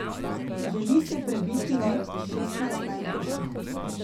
Želi se prebiti med šestnajst najboljših.